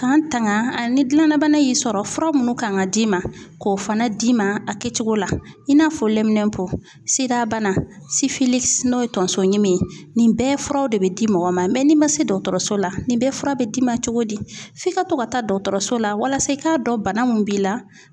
K'an tanga ni gilanna bana y'i sɔrɔ fura munnu kan ka d'i ma, k'o fana d'i ma, a kɛcogo la, i n'a fɔ sidabana n'o ye tonso ɲimi ye, nin bɛɛ furaw de bɛ di mɔgɔ ma n'i ma se dɔkɔtɔrɔso la, nin bɛɛ fura bɛ d'i ma cogo di, f'i ka to ka taa dɔkɔtɔrɔso la walasa i k'a dɔn bana mun b'i la